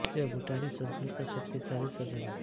यह भूटानी संसद का शक्ति शाली सदन है